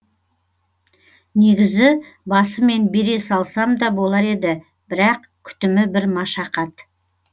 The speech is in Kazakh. негізі басымен бере салсам да болар еді бірақ күтімі бір машақат